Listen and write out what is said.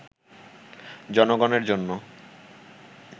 জনগণের জন্য